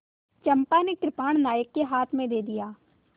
चंपा ने कृपाण नायक के हाथ में दे दिया